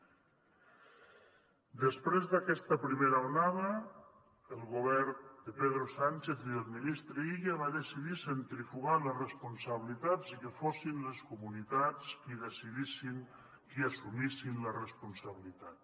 després d’aquesta primera onada el govern de pedro sánchez i del ministre illa va decidir centrifugar les responsabilitats i que fossin les comunitats qui decidissin qui assumissin la responsabilitat